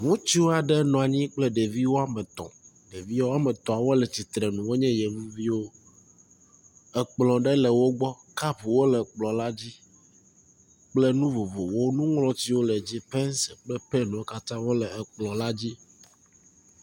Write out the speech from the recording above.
Ŋutsu aɖe nɔ anyi kple ɖevi wɔme etɔ̃. Ɖevi wɔme etɔ̃a wo le tsitrenu wonye yevuviwo. Ekplɔ aɖe le wo gbɔ. Kapwo le kplɔ la dzi kple nu vovovowo. Nuŋlɔtiwo le dzi, pencil kple penwo katã wo le kplɔ la dzi.